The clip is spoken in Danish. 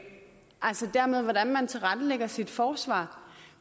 altså dermed om hvordan man tilrettelægger sit forsvar